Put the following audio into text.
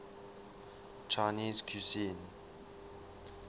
chinese cuisine